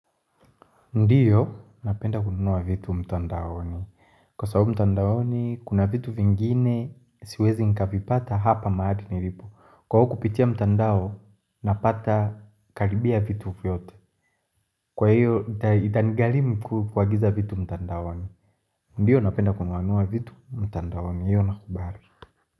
Ndiyo, napenda kununua vitu mtandaoni. Kwa sababu mtandaoni, kuna vitu vingine siwezi nikavipata hapa maali nilipo. Kwa huo kupitia mtandao, napata karibia vitu vyote. Kwa hiyo, ita nigarimu kuagiza vitu mtandaoni. Ndiyo, napenda kununua vitu mtandaoni. Hiyo, nakubali.